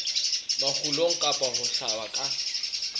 makgulong kapa ho hlaba ka